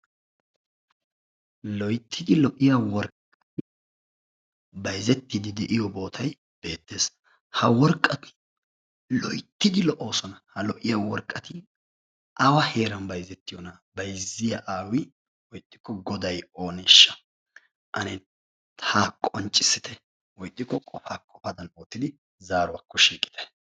Loyttidi lo"iya worqqayi bayzettiiddi de"iyo bootayi beettes. Ha worqqati loyttidi lo"oosona. Ha lo"iya worqqati awa heeran bayzettiyoonaa bayzziya aawi woykko godayi ooneeshsha Ane haa qonccissite woyi ixxikko qofaa qofadan oottidi zssruwakko shiiqite.